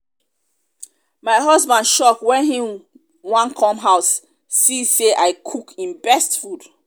my husband shock wen he wan come house see say i cook im best food